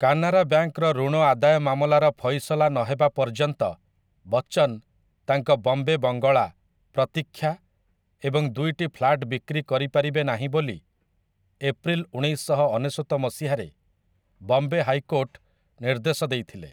କାନାରା ବ୍ୟାଙ୍କର ଋଣ ଆଦାୟ ମାମଲାର ଫଇସଲା ନହେବା ପର୍ଯ୍ୟନ୍ତ ବଚ୍ଚନ ତାଙ୍କ ବମ୍ବେ ବଙ୍ଗଳା 'ପ୍ରତୀକ୍ଷା' ଏବଂ ଦୁଇଟି ଫ୍ଲାଟ ବିକ୍ରି କରିପାରିବେ ନାହିଁ ବୋଲି, ଏପ୍ରିଲ ଉଣେଇଶଶହ ଅନେଶତ ମସିହାରେ ବମ୍ବେ ହାଇକୋର୍ଟ ନିର୍ଦ୍ଦେଶ ଦେଇଥିଲେ ।